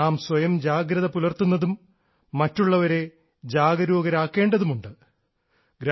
നാം സ്വയം ജാഗ്രത പുലർത്തുന്നതും മറ്റുള്ളവരെ ജാഗരൂകരാക്കേണ്ടതുമുണ്ട്